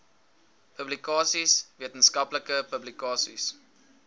publikasies wetenskaplike publikasies